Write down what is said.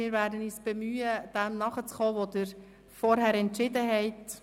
Wir werden uns bemühen, dem nachzukommen, was Sie zuvor entschieden haben.